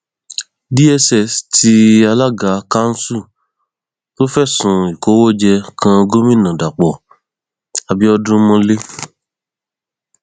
dss tí alága kanṣu tó fẹsùn ìkówóje kan gomina dapò abiodun mọlẹ